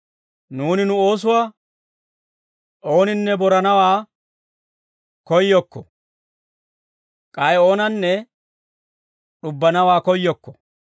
Nuuni nu oosuwaa ooninne boranawaa koyyokko; k'ay oonanne d'ubbanawaa koyyokko.